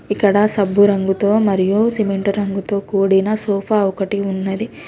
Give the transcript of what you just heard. ఇక్కడ సబ్బురంగుతో మరియు సిమెంట్ రంగుతో కూడిన సోఫా ఒకటి ఉన్నది.